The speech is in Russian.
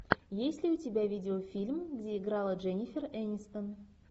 есть ли у тебя видеофильм где играла дженнифер энистон